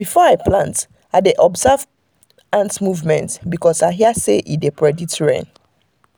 before i plant i dey observe ant movement because i hear say e dey predict rain.